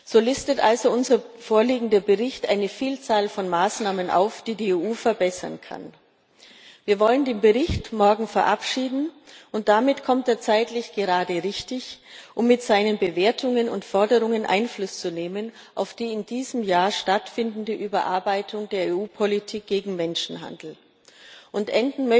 zu können. So listet also unser vorliegender Bericht eine Vielzahl von Maßnahmen auf, die die EU verbessern kann. Wir wollen den Bericht morgen verabschieden, und damit kommt er zeitlich gerade richtig, um mit seinen Bewertungen und Forderungen auf die in diesem Jahr stattfindende Überarbeitung der EU Politik gegen Menschenhandel Einfluss